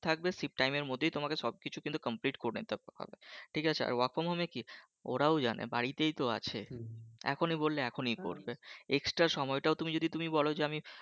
থাকবে shift time এর মধ্যেই তোমার সবকিছু কিন্তু complete করে নিতে হবে ঠিক আছে আর work from home এ কি ওরাও জানে বাড়িতেই তো আছে এখনি বললে এখনি করবে extra সময়টা তুমি যদি তুমি বলো যে আমি যদি,